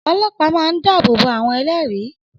Ọlọ́pàá máa ń dábòbò àwọn ẹlẹ́rìí